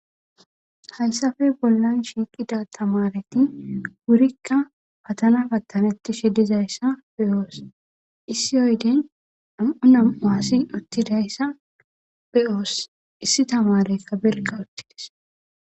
Hayisape bollan diza tamareti patana patenetishe doyisa be'os issi oyiden na'mu tamarey utidaysa be'os issi tamarey barika utidaysa be'os